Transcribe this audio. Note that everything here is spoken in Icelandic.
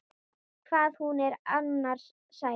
Hvað hún er annars sæt!